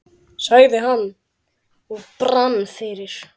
sagði hann og brann fyrir.